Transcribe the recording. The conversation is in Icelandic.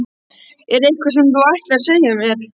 Er eitthvað sem þú ætlar að segja mér?